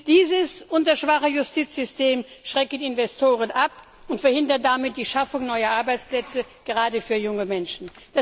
Dies und das schwache Justizsystem schrecken Investoren ab und verhindern damit die Schaffung neuer Arbeitsplätze, gerade für junge Menschen.